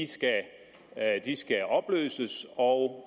skal opløses og